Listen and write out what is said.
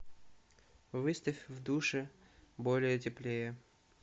выставь в душе более теплее